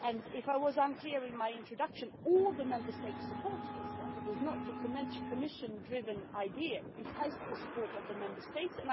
If I was unclear in my introduction all the Member States support this, it is not a Commission driven idea, it has the support of the Member States.